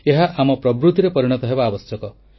ଏହା ଆମର ପ୍ରବୃତିରେ ପରିଣତ ହେବା ଆବଶ୍ୟକ